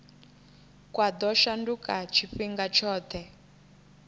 kwa ḓo shanduka tshifhinga tshoṱhe